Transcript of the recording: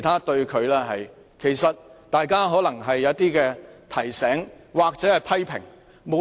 大家可能只是給予他一些提醒或批評。